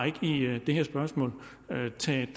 ikke i det her spørgsmål har taget